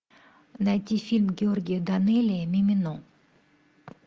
найти фильм георгия данелия мимино